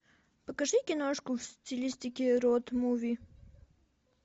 покажи киношку в стилистике роуд муви